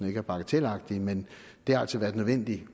ikke er bagatelagtig men det har altså været nødvendigt